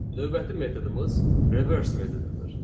Növbəti metodumuz reverse metodudur.